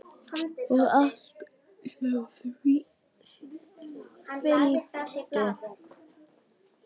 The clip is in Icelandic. Og allt sem því fylgdi.